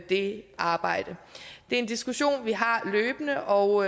det arbejde det er en diskussion vi har løbende og